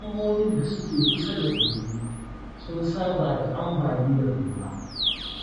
Al'ummomin da suke kusa da kogi, sun saba da ambaliyar ruwa.